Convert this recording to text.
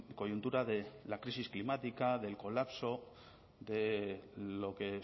coyuntura de la crisis climática del colapso de lo que